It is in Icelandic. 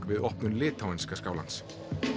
við opnun litháenska skálans